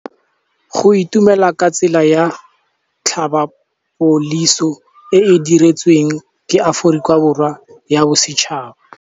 Go itumela ke tsela ya tlhapolisô e e dirisitsweng ke Aforika Borwa ya Bosetšhaba.